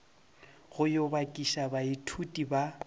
go yo bakiša baithuti ba